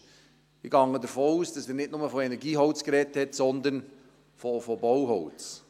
Ich gehe davon aus, dass er nicht nur von Energieholz gesprochen hat, sondern von Bauholz.